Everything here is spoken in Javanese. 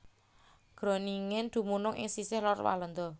Groningen dumunung ing sisih lor Walanda